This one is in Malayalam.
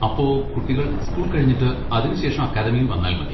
അപ്പൊ കുട്ടികൾ സ്കൂൾ കഴിഞ്ഞിട്ട് അതിനുശേഷം അക്കാദമിയിൽ വന്നാൽ മതി?